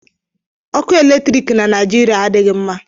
ọkụ eletri na Naijeria adịghị mma